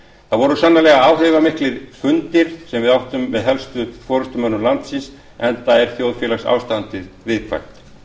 það voru sannarlega áhrifamiklir fundir sem við áttum með helstu forustumönnum landsins enda er þjóðfélagsástandið viðkvæmt